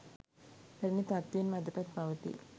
පැරණි තත්ත්වයෙන්ම අදටත් පවතී.